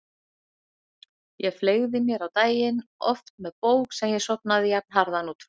Ég fleygði mér á daginn, oft með bók sem ég sofnaði jafnharðan út frá.